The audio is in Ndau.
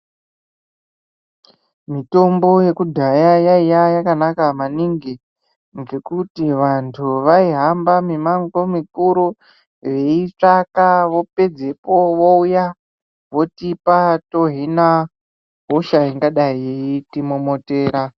Mitombo yekudhaya yaiva yakanaka maningi ngekuti vantu vaihamba mumango mikuru veyiitsvaka vopedzepo vouya veyitipa tohina hosha ingadai yeiti momotera.